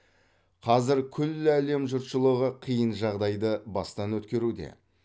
қазір күллі әлем жұртшылығы қиын жағдайды бастан өткеруде